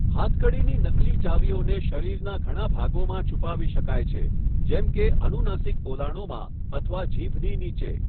હાથકડીની નકલી ચાવીઓને શરીરના ઘણા ભાગોમાં છુપાવી શકાય છે, જેમ કે અનુનાસિક પોલાણોમાં અથવા જીભની નીચે.